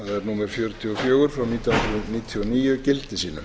númer fjörutíu og fjögur nítján hundruð níutíu og níu gildi sínu